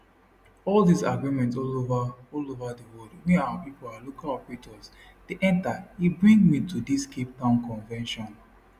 all dis agreement all ova all ova di world wey our pipo our local operators dey enta e bring me to dis capetown convention